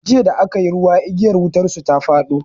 Jiya da aka yi ruwa igiyar wutar su ta fado.